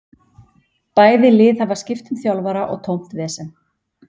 Bæði lið hafa skipt um þjálfara og tómt vesen.